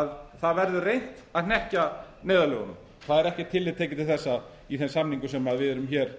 að það verður reynt að hnekkja neyðarlögunum það er ekkert tillit tekið til þessa í þeim samningum sem við erum hér